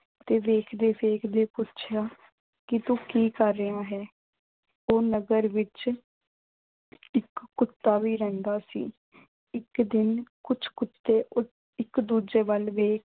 ਤੇ ਵੇਖਦੇ-ਵੇਖਦੇ ਪੁੱਛਿਆ ਕਿ ਤੂੰ ਕੀ ਕਰ ਰਿਹਾ ਹੈਂ। ਤੇ ਨਗਰ ਵਿੱਚ ਇੱਕ ਕੁੱਤਾ ਵੀ ਰਹਿੰਦਾ ਸੀ। ਇੱਕ ਦਿਨ ਕੁਝ ਕੁੱਤੇ ਇੱਕ ਦੂਜੇ ਵੱਲ ਵੇਖ